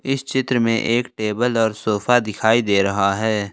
इस चित्र में एक टेबल और सोफा दिखाई दे रहा है।